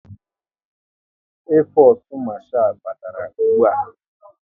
Air fosu marchal batara ụgbụa